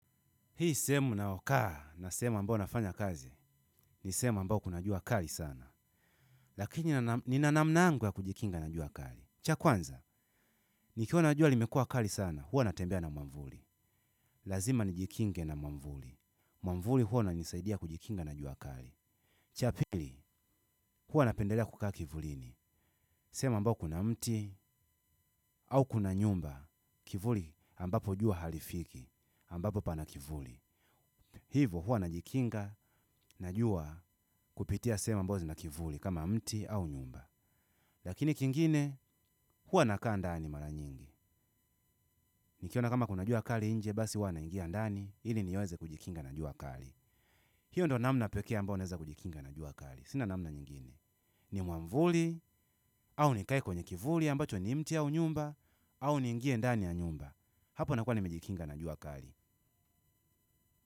Hii sehemu ninayokaa na sehemu ambao nafanya kazi ni sehemu ambao kuna jua kali sana. Lakini nina namna yangu ya kujikinga na jua kali. Cha kwanza, nikiona jua limekuwa kali sana, huwa natembea na mwavuli. Lazima nijikinge na mwavuli. Mwavuli huwa inanisaidia kujikinga na jua kali. Cha pili, huwa napendelea kukaa kivulini. Sehemu ambao kuna mti au kuna nyumba kivuli ambapo jua halifiki ambapo pana kivuli. Hivo huwa najikinga na jua kupitia sehemu ambazo zina kivuli kama mti au nyumba lakini kingine huwa nakaa ndani mara nyingi nikiona kama kuna jua kali nje basi huwa na ingia ndani ili niweze kujikinga na jua kali hiyo ndo namna pekee ambao naweza kujikinga na jua kali sina namna nyingine ni mwavuli au nikae kwenye kivuli ambacho ni mti au nyumba au niingie ndani ya nyumba hapo nakua nimejikinga na jua kali.